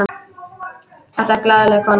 Þetta er glaðleg kona.